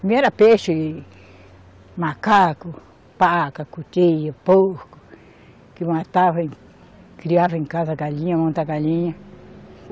Primeiro era peixe, e macaco, paca, cutia, porco, que matava e criava em casa galinha, galinha.